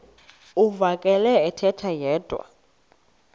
uvakele ethetha yedwa